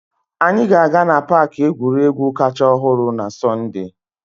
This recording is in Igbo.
Anyị ga-aga na paaki egwuregwu kacha ọhụrụ na Sọnde.